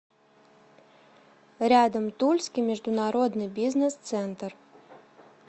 рядом тульский международный бизнес центр